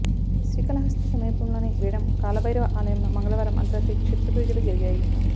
శ్రీకాళహస్తి సమీపంలోని వేడం కాలభైరవ ఆలయంలో మంగళవారం అర్థరాత్రి క్షుద్రపూజలు జరిగాయి